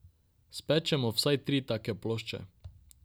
Spečemo vsaj tri take plošče.